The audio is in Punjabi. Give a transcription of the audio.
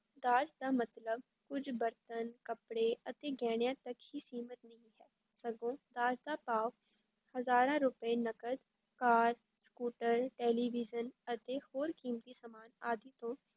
ਦਾਜ ਦਾ ਮਤਲਬ ਕੁੱਝ ਬਰਤਨ, ਕੱਪੜੇ ਅਤੇ ਗਹਿਣਿਆਂ ਤੱਕ ਹੀ ਸੀਮਤ ਨਹੀਂ ਹੈ, ਸਗੋਂ ਦਾਜ ਦਾ ਭਾਵ ਹਜ਼ਾਰਾਂ ਰੁਪਏ ਨਕਦ, ਕਾਰ, ਸਕੂਟਰ, ਟੈਲੀਵਿਜ਼ਨ ਅਤੇ ਹੋਰ ਕੀਮਤੀ ਸਾਮਾਨ ਆਦਿ ਤੋਂ